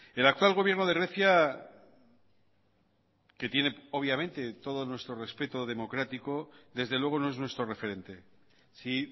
el actual gobierno de grecia que tiene obviamente todo nuestro respeto democrático desde luego no es nuestro referente si